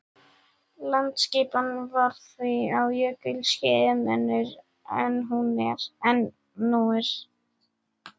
Landaskipan var því á jökulskeiðum önnur en nú er.